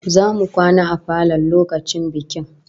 Zamu kwana a falon lokacin bikin